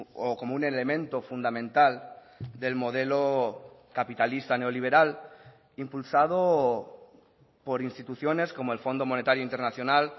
o como un elemento fundamental del modelo capitalista neoliberal impulsado por instituciones como el fondo monetario internacional